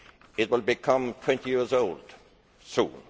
It will become 20 years old soon